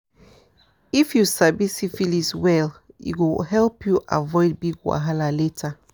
if you sabi syphilis well e go help you avoid big wahala later